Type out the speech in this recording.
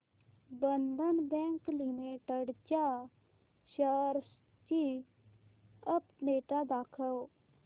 बंधन bank limited च्या shares ची update दाखव